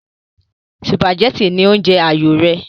sùpàgẹ́tì ní oúnjẹ àyò rẹ̀